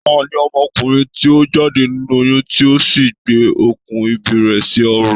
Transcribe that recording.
Tani ọmọkùnrin ti o jáde nínú oyún ti o sí gbé okùn ìbí rẹ̀ sí ọrùn?